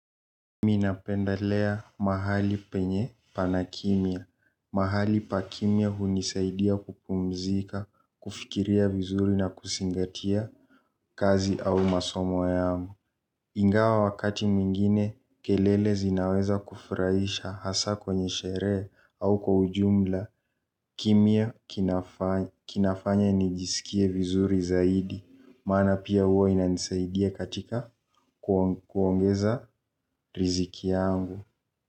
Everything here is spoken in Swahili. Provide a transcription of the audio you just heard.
Mimi napendelea mahali penye pana kimya, mahali pa kimya hunisaidia kupumzika, kufikiria vizuri na kuzingatia kazi au masomo yangu. Ingawa wakati mwingine kelele zinaweza kufurahisha hasa kwenye sherehe au kwa ujumla kimya kinafanya nijisikie vizuri zaidi maana pia huwa inanisaidia katika kuongeza riziki yangu.